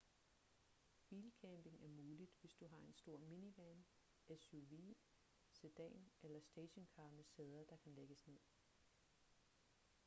bilcamping er muligt hvis du har en stor minivan suv sedan eller stationcar med sæder der kan lægges ned